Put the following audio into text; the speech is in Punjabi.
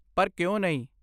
ਪਰ ਕਿਉ ਨਹੀਂ?